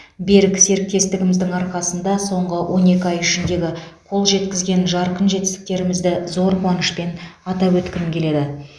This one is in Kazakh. берік серіктестігіміздің арқасында соңғы он екі ай ішіндегі қол жеткізген жарқын жетістіктерімізді зор қуанышпен атап өткім келеді